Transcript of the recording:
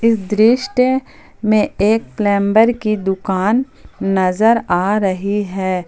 दृष्ट में एक प्लंबर की दुकान नजर आ रही है।